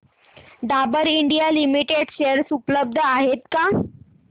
Dabur India limited share उपलब्ध आहेत का